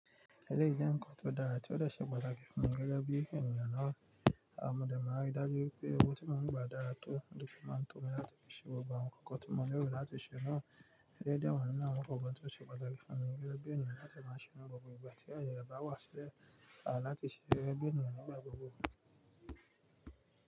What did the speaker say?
Ẹ̀dẹ̀ jẹ́ nkan tó dára tí ó lè ṣe pàtàkì fún mi gẹ́gẹ́ bí ènìyàn ná, àmọ̀ dé máa rí i dájú pé ohun tí mò ń gbà dára tó, dòkú máa tó mi láti fi ṣe gbogbo àwọn ǹkan kan tí mò ń rò láti ṣe náà. Ẹ̀leyi de wa nínú àwọn ǹkan kan tí ó ṣe pàtàkì fún mi gẹ́gẹ́ bí ènìyàn láti máa ṣe nú gbogbo ìgbà tí aye ẹ bá wà sílẹ̀, à láti ṣe gege bi ènìyàn nígbà gbogbo.